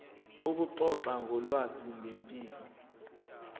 ukuxoxa ngolwazi ngempilo